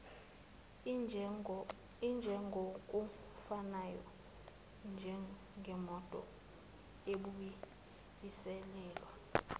injengokufanayo njengemoto ebuyiselelwa